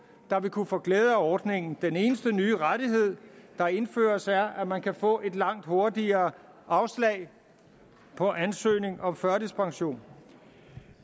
der vil kunne få glæde af ordningen den eneste nye rettighed der indføres er at man kan få et langt hurtigere afslag på ansøgning om førtidspension